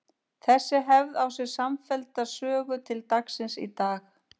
Þessi hefð á sér samfellda sögu til dagsins í dag.